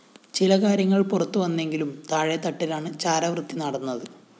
ചില കാര്യങ്ങള്‍ പുറത്തുവന്നെങ്കിലും താഴെത്തട്ടിലാണ് ചാരവൃത്തി നടന്നത്